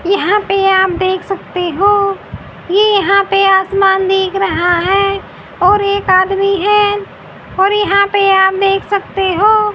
यहां पे आप देख सकते हो ये यहां पे आसमान दिख रहा है और एक आदमी है और यहां पे आप देख सकते हो।